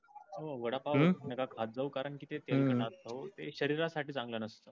हो वडापाव अजव कारण कि ते तेल खाणार त्यो ते शरीरा साटी चांगल नस्त.